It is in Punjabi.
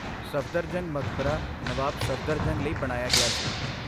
ਸਫਦਰਜੰਗ ਮਕਬਰਾ ਨਵਾਬ ਸਫਦਰਜੰਗ ਲਈ ਬਣਾਇਆ ਗਿਆ ਸੀ।